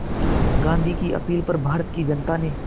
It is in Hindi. गांधी की अपील पर भारत की जनता ने